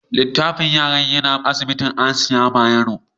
Likitan yara yana asibitin Hasiya Bayero.